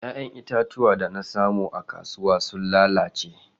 Ya'yan itatuwa da na samu a kasuwa sun lalace.